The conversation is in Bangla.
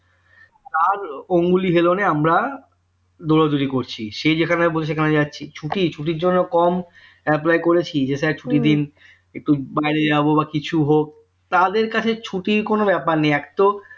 তার অংলি হিলনে আমরা দৌড়াদৌড়ি করছি সে যেখানে বলছেওখানে যাচ্ছি ছুটি ছুটির জন্য কম apply করেছি যে sir ছুটি দিন একটু বাইরে যাবো কিছু হোক তাদের কাছে ছুটির কোন ব্যাপার নেই এত